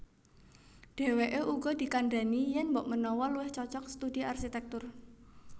Dhèwèké uga dikandhani yèn mbokmenawa luwih cocog studi arsitèktur